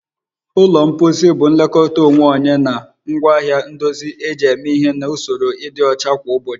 Ụlọ mposi bụ nlekọta onwe onye na ngwaahịa ndozi eji eme ihe na usoro ịdị ọcha kwa ụbọchị